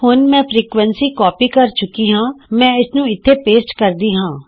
ਹੁਣ ਮੈਂ frequency copy ਕਰ ਚੁਕੀ ਹਾਂ ਮੈਂ ਇਸਨੂੰ ਇਥੇ ਪੇਸਟ ਕਰਦੀ ਹਾਂ